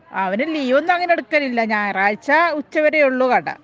അവൻ ലീവൊന്നും അങ്ങിനെ എടുക്കലില്ല ഞായറാഴ്ച ഉച്ച വരെ ഒള്ളു കട